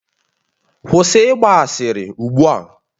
Kwụsị ịgba asịrị ugbu a!